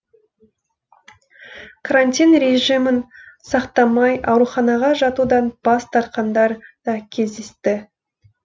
карантин режимін сақтамай ауруханаға жатудан бас тартқандар да кездесті